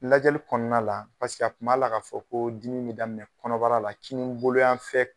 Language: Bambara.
Lajɛli kɔɔna la a tun b'a la k'a fɔ koo dimi be daminɛ kɔnɔbara la kininbolo yanfɛ